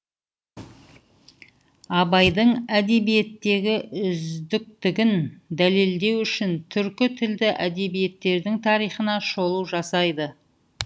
абайдың әдебиеттегі үздіктігін дәлелдеу үшін түркі тілді әдебиеттердің тарихына шолу жасайды